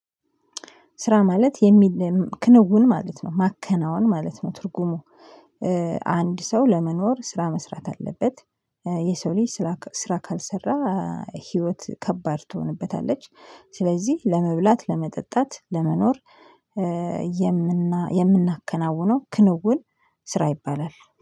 ስራ ማለት የሚል ክንውን ማለት ነው ማከናወን ማለት ነው ትርጉሙ። አንድ ሰው ለመኖር ስራ መስራት አለበት የሰው ልጅ ስራ ስራ ካልሰራ ህይወት ከባድ ትሆንበታለች። ስለዚህ ለመብላት ለመጠጣት ለመኖር የምናከናውነው ክንውን ስራ ይባላል